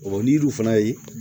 ni yiriw fana ye